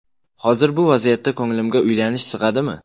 Hozir bu vaziyatda ko‘nglimga uylanish sig‘adimi?